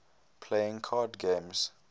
playing card games